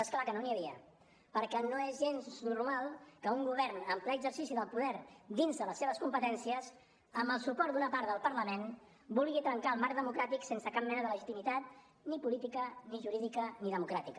és clar que no n’hi havia perquè no és gens normal que un govern en ple exercici del poder dins de les seves competències amb el suport d’una part del parlament vulgui trencar el marc democràtic sense cap mena de legitimitat ni política ni jurídica ni democràtica